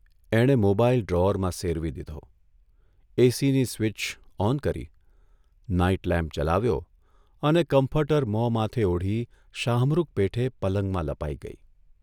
એણે મોબાઇલ ડ્રોઅરમાં સેરવી દીધો, એસીની સ્વીચ ઓન કરી, નાઇટ લેમ્પ જલાવ્યો અને કમ્ફર્ટર મોં માથે ઓઢી શાહમૃગ પેઠે પલંગમાં લપાઇ ગઇ.